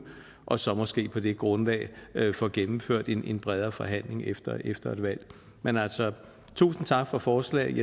og så måske på det grundlag få gennemført en bredere forhandling efter efter et valg men altså tusind tak for forslaget